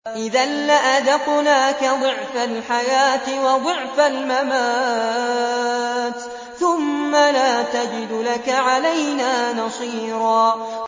إِذًا لَّأَذَقْنَاكَ ضِعْفَ الْحَيَاةِ وَضِعْفَ الْمَمَاتِ ثُمَّ لَا تَجِدُ لَكَ عَلَيْنَا نَصِيرًا